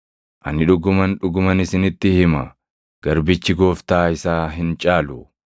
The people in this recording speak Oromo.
Ani dhuguman, dhuguman isinitti hima; garbichi gooftaa isaa hin caalu; ergamaanis kan isa erge hin caalu.